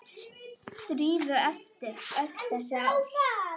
Drífu eftir öll þessi ár.